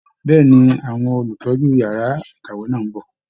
Bẹ́ẹ̀ ni, Àwọn Olùtọ́jú yàrá ìkàwé náà ń bọ̀